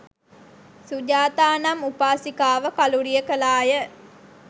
සුජාතා නම් උපාසිකාව කළුරිය කළා ය.